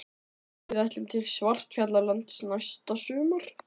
Við ætlum til Svartfjallalands næsta sumar.